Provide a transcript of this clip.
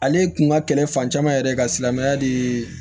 Ale kun ka kɛlɛ fan caman yɛrɛ ka silamɛya de ye